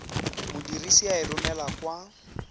modirisi a e romelang kwa